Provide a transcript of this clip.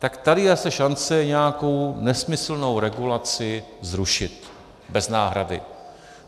Tak tady je zase šance nějakou nesmyslnou regulaci zrušit bez náhrady.